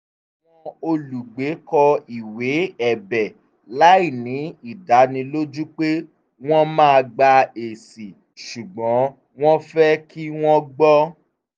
àwọn olùgbé kọ ìwé ẹ̀bẹ̀ láìní ìdánilójú pé wọ́n máa gba ẹ̀sì ṣùgbọ́n wọ́n fẹ́ kí wọ́n gbọ́